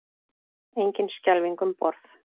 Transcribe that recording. Engin skelfing um borð